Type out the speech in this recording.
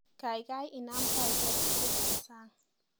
Kaikai inam taishek tugul eng sang